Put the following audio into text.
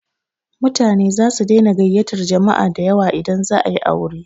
Mutane zasu daina gayyatar jama'a dayawa idan za a yi aure.